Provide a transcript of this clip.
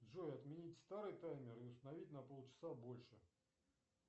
джой отменить старый таймер и установить на пол часа больше